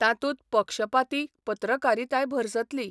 तातूंत पक्षपाती पत्रकारिताय भरसतली.